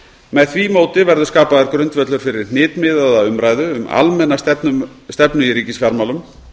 með því móti verður skapaður grundvöllur fyrir hnitmiðaða umræðu um almenna stefnu í ríkisfjármálum